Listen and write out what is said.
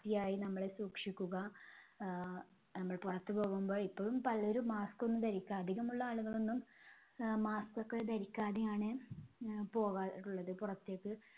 വൃത്തിയായി നമ്മള് സൂക്ഷിക്കുക. ആഹ് നമ്മൾ പുറത്തു പോകുമ്പോ ഇപ്പഴും പലരും mask ഒന്നും ധരിക്കാതെ അധികമുള്ള ആളുകളൊന്നും ആഹ് mask ഒക്കെ ധരിക്കാതെയാണ് അഹ് പോകാറുള്ളത് പുറത്തേക്ക്